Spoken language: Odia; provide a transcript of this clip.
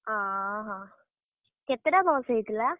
ଅହ, କେତେଟା ବସ୍ ହେଇଥିଲା?